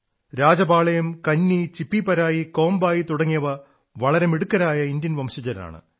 രാജപാളയം കന്നി ചിപ്പിപരായി കോമ്ബായി തുടങ്ങിയവ വളരെ മിടുക്കരായ ഇന്ത്യൻ വംശജരാണ്